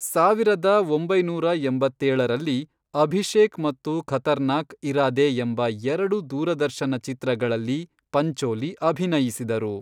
ಸಾವಿರದ ಒಂಬೈನೂರ ಎಂಬತ್ತೇಳರಲ್ಲಿ, ಅಭಿಷೇಕ್ ಮತ್ತು ಖತರ್ನಾಕ್ ಇರಾದೇ ಎಂಬ ಎರಡು ದೂರದರ್ಶನ ಚಿತ್ರಗಳಲ್ಲಿ ಪಂಚೋಲಿ ಅಭಿನಯಿಸಿದರು.